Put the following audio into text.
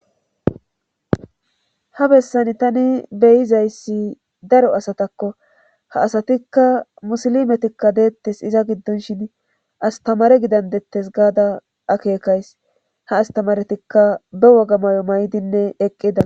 ha bessan tani beyizayssi daro asatakko ha asatikka musilimetikka deettes iza giddonshin astamare gidandettes gaada akeekays ha astamaretikka be woga may7o may7dinne eqqida